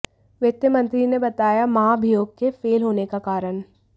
वित्त मंत्री ने बताया महाभियोग के फेल होने का कारण